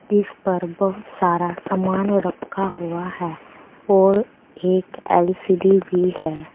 मेज पर बहुत सारा सामान रखा हुआ है और एक एल_सी_डी भी है।